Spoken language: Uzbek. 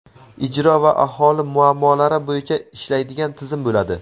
ijro va aholi muammolari bo‘yicha ishlaydigan tizim bo‘ladi.